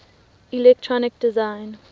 electronic design